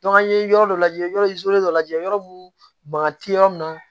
an ye yɔrɔ dɔ lajɛ yɔrɔ dɔ lajɛ yɔrɔ mun bana ti yɔrɔ min na